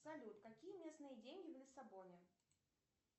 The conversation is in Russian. салют какие местные деньги в лиссабоне